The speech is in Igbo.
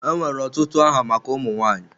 Enwere ọtụtụ aha maka ụmụ nwanyị.